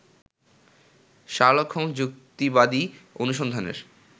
Sherlock Holmes যুক্তিবাদী অনুসন্ধানের